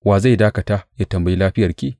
Wa zai dakata ya tambayi lafiyarki?